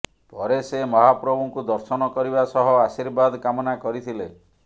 ପରେ ସେ ମହାପ୍ରଭୁଙ୍କୁ ଦର୍ଶନ କରିବା ସହ ଆର୍ଶୀବାଦ କାମନା କରିଥିଲେ